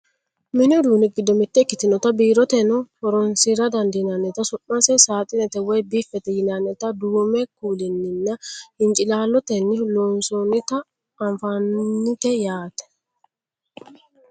mini uduunni giddo mitte ikkitinota biiroteno horonsira dandiinannita su'mase saaxinete woyi biffete yinannita duumu kuulinninna hincilaallotenni lonsoonnita anfannite yaate .